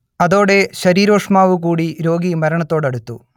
അതോടെ ശരീരോഷ്മാവു കൂടി രോഗി മരണത്തോടടുത്തു